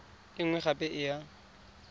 e nngwe gape e ya